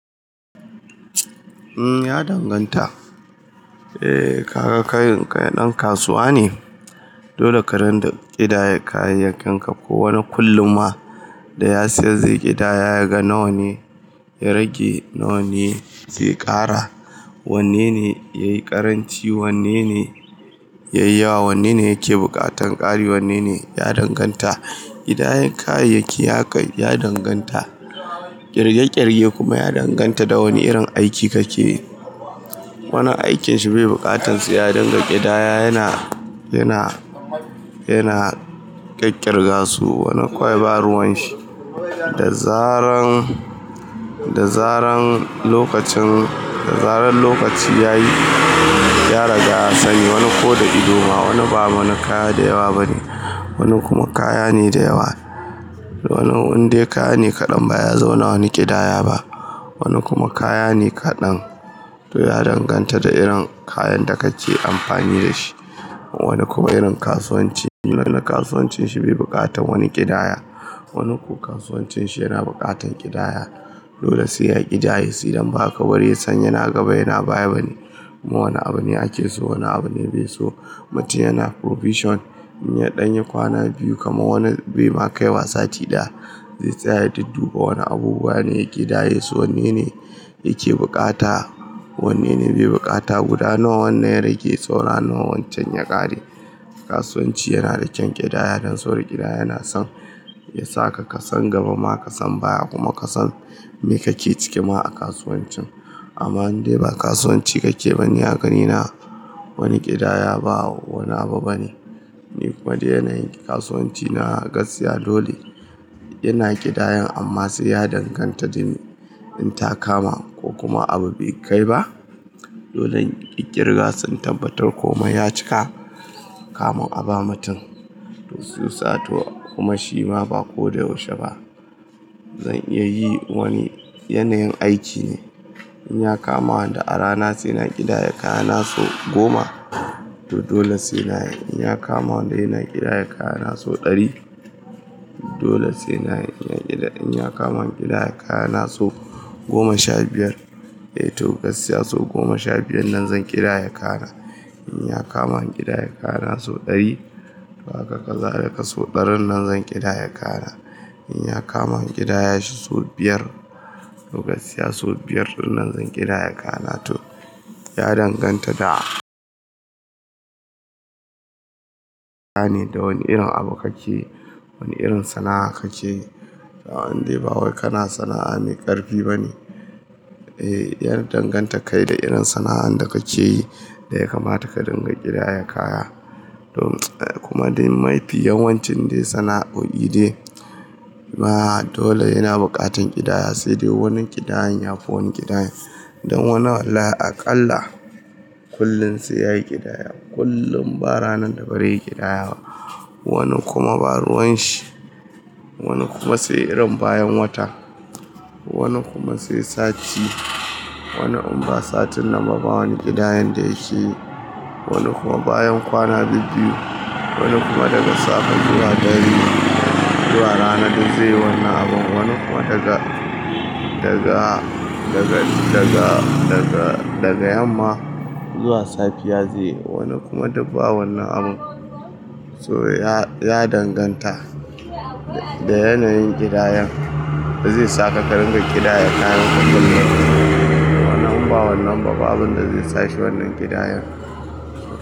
Ya danganta. Eh kaga kai ɗan kasuwa ne, dole ka dunga ƙidaya kayayyakinka. Ko wani kullum ma da ya siyar zai ƙidaya yaga nawa ne ya rage, nawa ne zai ƙara, wanne ne yayi ƙaranci, wanne ne yayi yawa, wanne ne yake buƙatan ƙari, wanne ne ya danganta. Ƙidayar kayayyaki ya danganta, ƙirge ƙirge kuma ya danganta da wane irin aiki kake yi. Wani aikin shi bai buƙatan sai ya dinga ƙidaya yana, yana ƙiƙƙirga su, wani kawai ba ruwan shi. Da zaran, da zaran lokacin, da zaran lokaci yayi ya riga ya sani wani ko da ido ma wani ba mana kaya da yawa bane. Wani kuma kaya ne da yawa. Wani dai kaya ne kaɗan ba sai ya zauna wani ƙidaya ba. Wani kuma kaya ne kaɗan to ya danganta da irin kayan da kake amfani da shi. Wani kuma irin kasuwanci, wani kasuwancin shi bai buƙatan wani ƙidaya, wani kuwa kasuwancin shi yana buƙatan ƙidaya. Dole sai ya ƙidaye, su idan ba haka ba bare san yana gaba yana baya bane. Kuma wane abu ne ake so wane abu ne bai so. Mutum yana provision in ya ɗan yi kwana biyu kamar wani bai ma kai wa sati ɗaya, zai tsaya ya dudduba wani abubuwa ne ya ƙidaye su wanne ne yake buƙata, wanne ne bai buƙata. Guda nawa wannan ya rage, saura nawa wancan ya ƙare. Kasuwanci yana da kyan ƙidaya don saboda ƙidaya na son ya saka ka san gaba ma ka san baya kuma ka san me kake cike ma a kasuwancin. Amma in dai ba kasuwanci kake ba ni a ganina wani ƙidaya ba wani abu bane. Ni kuma da yanayin kasuwanci na gaskiya dole yana ƙidayan amma sai ya danganta da in ta kama ko kuma abu bai kai ba. Dole in ƙiƙƙirga su in tabbatar ko mai ya cika, kamun aba mutum in sun saya to kuma shi ma ba ko da yaushe ba. Zan iya yi wani yanayin aiki ne in ya kama wanda a rana sai na ƙidaya kayana sau goma, to dole sai na yi. In ya kama wanda sai na ƙidaya kayana sau ɗari, dole sai na yi. In ya kama in ƙidaya kayana sau goma sha biyar, eh to gaskiya sau goma sha biyar nan zan ƙidaya kayana. In ya kama in ƙidaya kayana sau ɗari, to haka kazalika so ɗarin nan zan ƙidaya kayana. In ya kama ƙidaya shi sau biyar, to gaskiya sau biyar ɗin nan zan ƙidaya kayana to ya danganta da kaya ne, da wane irin abu kake yi, wane irin sana'a kake yi. A in dai ba wai kana sana'a mai ƙarfi bane. Eh ya danganta kai da irin sana'ar da kake yi da ya kamata ka dinga ƙidaya kaya. To kuma dai mafi yawan cin dai sana'o'i dai ba dole yana buƙatan ƙidaya. Sai dai wani ƙidayan yafi wani ƙidayan. Don wani wallahi aƙalla kullum sai yayi ƙidaya. Kullum ba ranar da bazai yi ƙidaya ba. Wani kuma ba ruwan shi. Wani kuma sai irin bayan wata. Wani kuma sai sati. Wani kuma ba satin nan ba wani ƙidayan da yake yi. Wani kuma bayan kwana biyu. Wani kuma daga safe zuwa dare zuwa rana duk zai yi wannan abun. Wani kuma daga, daga, daga, daga, daga, daga yamma zuwa safiya zai yi. Wani kuma duk ba wannan abun. To ya, ya danganta da yanayin ƙidayan da zai saka ka dinga ƙidaya kayanka kullum. Wani kuma in ba wannan ba babu abunda zai sashi wannan ƙidayan.